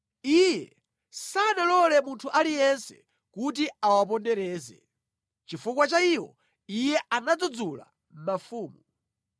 Iye sanalole munthu aliyense kuti awapondereze; chifukwa cha iwo, Iye anadzudzula mafumu: